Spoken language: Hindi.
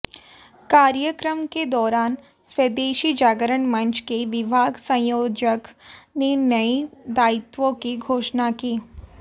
कार्यक्रम के दौरान स्वदेशी जागरण मंच के विभाग संयोजक ने नए दायित्वों की घोषणा की